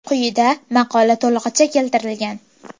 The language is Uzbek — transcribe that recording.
Quyida maqola to‘lig‘icha keltirilgan.